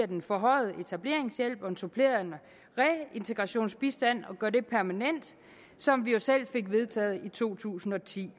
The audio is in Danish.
den forhøjede etableringshjælp og den supplerende reintegrationsbistand som vi jo selv fik vedtaget i to tusind og ti